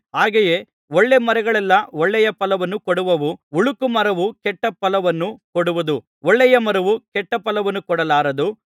ಹಾಗೆಯೇ ಒಳ್ಳೆಯಮರಗಳೆಲ್ಲಾ ಒಳ್ಳೆಯ ಫಲವನ್ನು ಕೊಡುವವು ಹುಳುಕು ಮರವು ಕೆಟ್ಟ ಫಲವನ್ನು ಕೊಡುವುದು ಒಳ್ಳೆಯ ಮರವು ಕೆಟ್ಟ ಫಲವನ್ನು ಕೊಡಲಾರದು